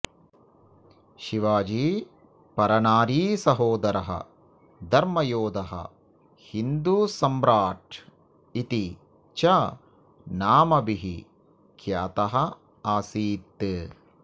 शिवाजी परनारीसहोदरः धर्मयोधः हिन्दुसम्राट् इति च नामभिः ख्यातः आसीत्